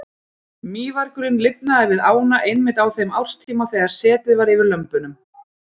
Mývargurinn lifnaði við ána einmitt á þeim árstíma þegar setið var yfir lömbunum.